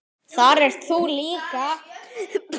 Þar ert þú líka.